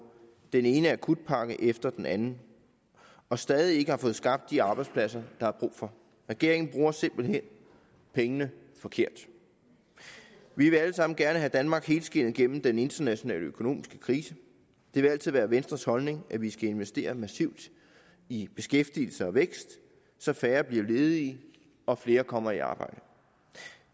den ene akutpakke efter den anden og stadig ikke har fået skabt de arbejdspladser der er brug for regeringen bruger simpelt hen pengene forkert vi vil alle sammen gerne have danmark helskindet gennem den internationale økonomiske krise det vil altid være venstres holdning at vi skal investere massivt i beskæftigelse og vækst så færre bliver ledige og flere kommer i arbejde